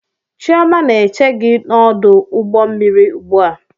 Chioma na-eche gi n'ọdụ ụgbọ mmiri ugbua